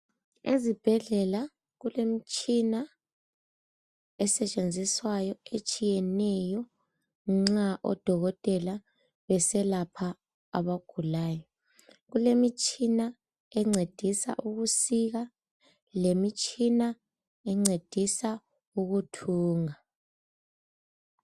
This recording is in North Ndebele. Ezibhedlela kulemitshina esetshenziswayo etshiyeneyo nxa odokotela beselapha abagulayo kulemitshina encedisa ukusika lemitshina encedisa ukuthunga.